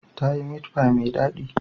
Ta yi meat pie mai daɗi.